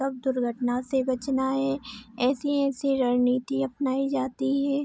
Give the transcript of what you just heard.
कब दुर्घटना से बचना है ऐसी-ऐसी रणनीति अपनाई जाती है।